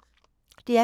DR P2